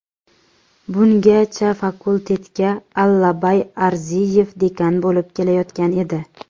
Bungachafakultetga Allabay Arziyev dekan bo‘lib kelayotgan edi.